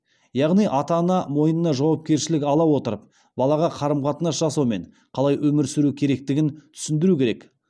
яғни ата ана мойнына жауапкершілік ала отырып балаға қарым қатынас жасау мен қалай өмір сүру керектігін түсіндіру керек